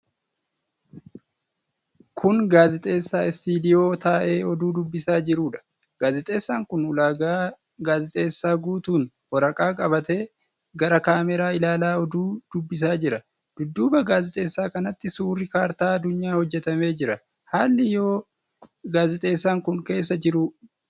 Kun gaazexeessaa istiidiyoo taa'ee oduu dubbisaa jiruudha. Gaazexeessaan kun ulaagaa gaazexeessaa guutuun waraqaa qabatee gara kaameraa ilaalaa oduu dubbisaa jira. Dudduuba gaazexeessaa kanatti suurri kaartaa addunyaa hojjatamee jira. Haalli yeroo gaazexeessaan kun keessa jiruu guyyaadhamoo galgaladha?